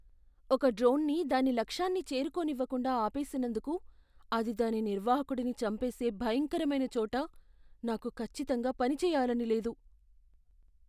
ఒక డ్రోన్ని దాని లక్ష్యాన్ని చేరుకోనివ్వకుండా ఆపేసినందుకు అది దాని నిర్వాహకుడిని చంపేసే భయంకరమైన చోట నాకు ఖచ్చితంగా పనిచేయాలని లేదు.